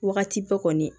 Wagati bɛɛ kɔni